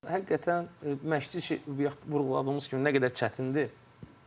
Həqiqətən məşqçi bayaq vurğuladığımız kimi nə qədər çətindir.